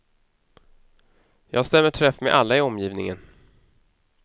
Jag stämmer träff med alla i omgivningen.